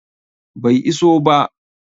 Bai iso ba